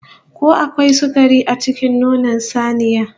Ko akwai sukari a cikin nonon saniya?